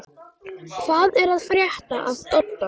Hvað er að frétta af Dodda?